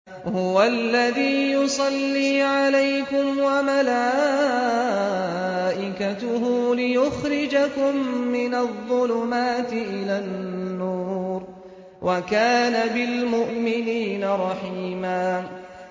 هُوَ الَّذِي يُصَلِّي عَلَيْكُمْ وَمَلَائِكَتُهُ لِيُخْرِجَكُم مِّنَ الظُّلُمَاتِ إِلَى النُّورِ ۚ وَكَانَ بِالْمُؤْمِنِينَ رَحِيمًا